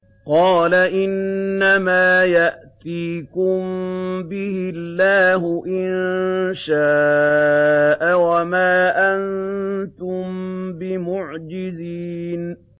قَالَ إِنَّمَا يَأْتِيكُم بِهِ اللَّهُ إِن شَاءَ وَمَا أَنتُم بِمُعْجِزِينَ